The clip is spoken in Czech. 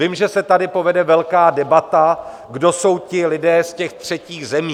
Vím, že se tady povede velká debata, kdo jsou ti lidé z těch třetích zemí.